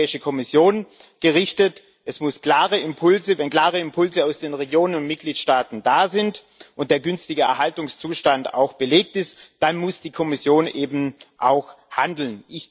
An die Europäische Kommission gerichtet Wenn klare Impulse aus den Regionen und Mitgliedstaaten da sind und der günstige Erhaltungszustand auch belegt ist, dann muss die Kommission eben auch handeln.